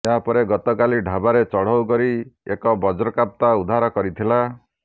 ଏହାପରେ ଗତକାଲି ଢ଼ାବାରେ ଚଢ଼ଉ କରି ଏକ ବଜ୍ରକାପ୍ତା ଉଦ୍ଧାର କରିଥିଲା